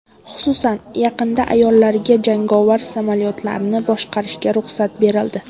Xususan, yaqinda ayollarga jangovar samolyotlarni boshqarishga ruxsat berildi.